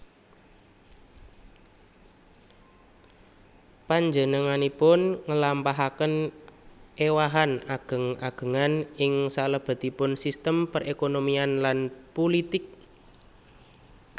Panjenenganpun nglampahaken éwahan ageng agengan ing salebetipun sistem perekonomian lan pulitik